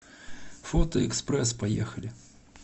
фото экспресс поехали